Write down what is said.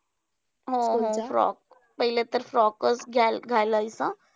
हो हो frock. पहिले तर frock चं घाल घालायचं.